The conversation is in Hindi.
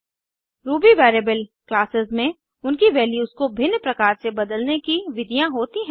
रूबी वेरिएबल क्लासेस में उनकी वैल्यूज को भिन्न प्रकार से बदलने की विधियाँ होती हैं